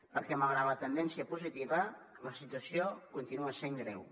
perquè malgrat la tendència positiva la situació continua sent greu